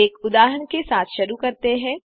एक उदाहरण के साथ शुरू करते हैं